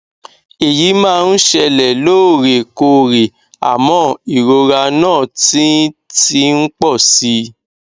èyí máa ń ṣẹlẹ lóòrèkóòrè àmọ ìrora náà ti ti ń pọ si